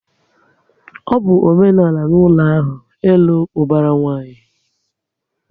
Ọ bụ omenala na ezinaụlọ ahụ, ịlụ ubara nwanyi